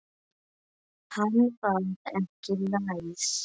Hann var ekki læs.